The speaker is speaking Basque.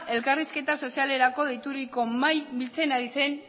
elkarrizketa sozialerako deituriko mahaia biltzen ari zen